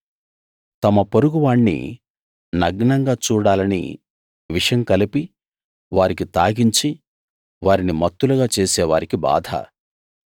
తమ పొరుగు వాణ్ణి నగ్నంగా చూడాలని విషం కలిపి వారికి తాగించి వారిని మత్తులుగా చేసేవారికి బాధ